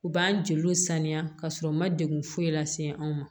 U b'an jeliw saniya ka sɔrɔ u ma degun foyi lase anw ma